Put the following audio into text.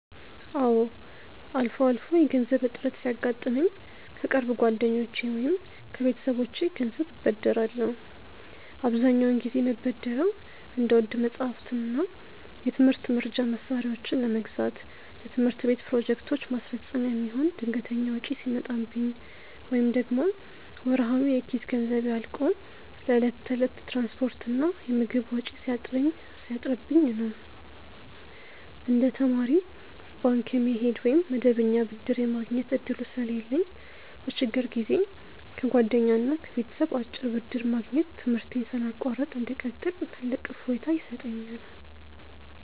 አዎ፣ አልፎ አልፎ የገንዘብ እጥረት ሲያጋጥመኝ ከቅርብ ጓደኞቼ ወይም ከቤተሰቦቼ ገንዘብ እበደራለሁ። አብዛኛውን ጊዜ የምበደረው እንደ ውድ መጻሕፍትና የትምህርት መርጃ መሣሪያዎችን ለመግዛት፣ ለትምህርት ቤት ፕሮጀክቶች ማስፈጸሚያ የሚሆን ድንገተኛ ወጪ ሲመጣብኝ፣ ወይም ደግሞ ወርሃዊ የኪስ ገንዘቤ አልቆ ለዕለት ተዕለት የትራንስፖርትና የምግብ ወጪ ሲያጥርብኝ ነው። እንደ ተማሪ ባንክ የመሄድ ወይም መደበኛ ብድር የማግኘት ዕድሉ ስለሌለኝ፣ በችግር ጊዜ ከጓደኛና ከቤተሰብ አጭር ብድር ማግኘት ትምህርቴን ሳላቋርጥ እንድቀጥል ትልቅ እፎይታ ይሰጠኛል።